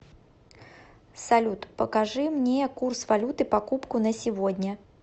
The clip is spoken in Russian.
салют покажи мне курс валюты покупку на сегодня